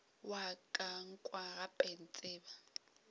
wa ka nkwa gape ntseba